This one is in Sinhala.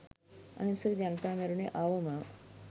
අහිංසක ජනතාව මැරුනේ අවමව.